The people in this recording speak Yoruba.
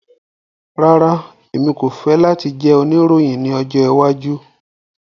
Rara, Emi ko fẹ lati jẹ oniroyin ni ọjọ iwaju